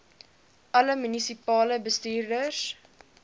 alle munisipale bestuurders